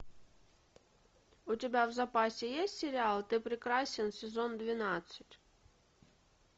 у тебя в запасе есть сериал ты прекрасен сезон двенадцать